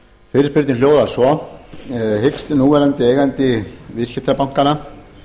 fyrirspurnin hljóðar svo hyggst núverandi eigandi viðskiptabankanna